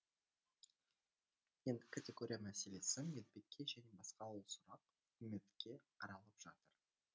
енді категория мәселесі медбике және басқа ол сұрақ үкіметте қаралып жатыр